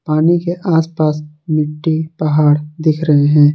पानी के आसपास मिट्टी पहाड़ दिख रहे हैं।